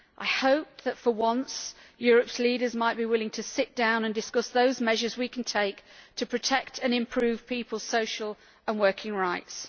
I hoped that, for once, Europe's leaders might be willing to sit down and discuss those measures we can take to protect and improve people's social and working rights.